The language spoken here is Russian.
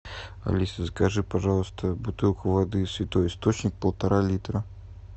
алиса закажи пожалуйста бутылку воды святой источник полтора литра